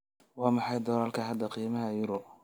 waa maxay doolarka hadda qiimaha euro